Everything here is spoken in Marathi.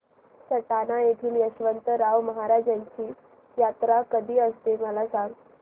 सटाणा येथील यशवंतराव महाराजांची यात्रा कशी असते मला सांग